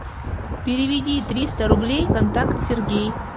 переведи триста рублей контакт сергей